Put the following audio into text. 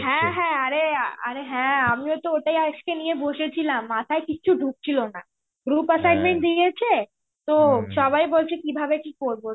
হ্যাঁ হ্যাঁ আরে আরে হ্যাঁ আমিও তো ওটাই আজকে নিয়ে বসেছিলাম. মাথায় কিছু ঢুকছিল না. group assignment দিয়েছে, তো সবাই বলছে কিভাবে কি করব.